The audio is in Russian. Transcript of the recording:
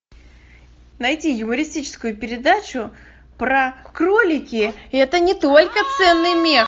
найти юмористическую передачу про кролики это не только ценный мех